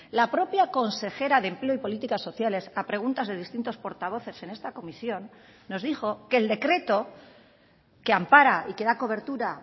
la propia consejera de empleo y políticas sociales a preguntas de distintos portavoces en esta comisión nos dijo que el decreto que ampara y que da cobertura